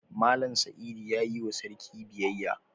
Mallam Saidu ya yi wa sarki biyayya.